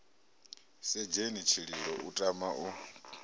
sedzheni tshililo u tama u